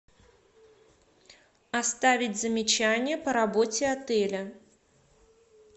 оставить замечание по работе отеля